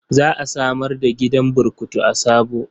Za a samar da gidan burkutu a Sabo.